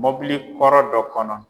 Mɔbili kɔrɔ dɔ kɔnɔ